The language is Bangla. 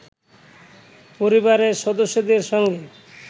পরিবারের সদস্যদের সঙ্গে